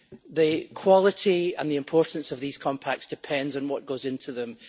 The quality and the importance of these compacts depend on what goes into them.